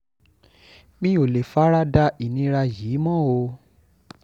mi ò lè fara da ìnira yìí mọ́ o